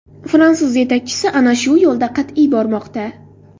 Fransuz yetakchisi ana shu yo‘lda qat’iy bormoqda”.